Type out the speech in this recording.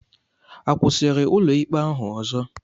A kwụsịrị ụlọikpe ahụ ọzọ?